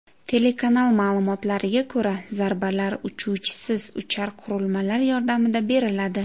Telekanal ma’lumotlariga ko‘ra, zarbalar uchuvchisiz uchar qurilmalar yordamida beriladi.